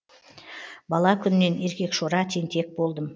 бала күннен еркекшора тентек болдым